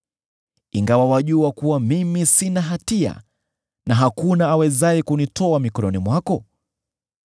ingawa wajua kuwa mimi sina hatia, na hakuna awezaye kunitoa mkononi mwako?